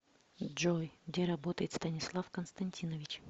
джой где работает станислав константинович